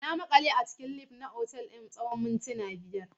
Na maƙale a cikin lif na otal ɗin na tsawon mintuna biyar.